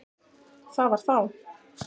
Það var þá!